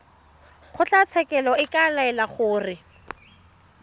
kgotlatshekelo e ka laela gore